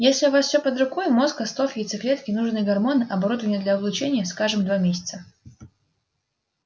если у вас всё под рукой мозг остов яйцеклетки нужные гормоны оборудование для облучения скажем два месяца